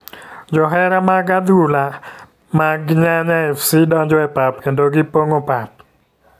Johera mag adhula mad yanya fc donjo e pap kendo gipongo pap.